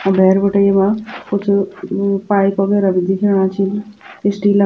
अ भैर बिटि यैमा कुछ उ-पाइप वागेराह भी दिखेंणा छिन स्टील --